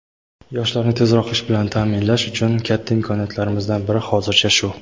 Yoshlarni tezroq ish bilan taʼminlash uchun katta imkoniyatlarimizdan biri hozircha shu.